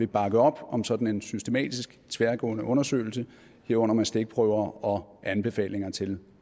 bakke op om sådan en systematisk tværgående undersøgelse herunder med stikprøver og anbefalinger til